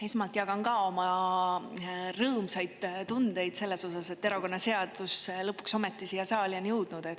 Esmalt jagan ka oma rõõmsaid tundeid selles osas, et erakonnaseadus lõpuks ometi siia saali on jõudnud.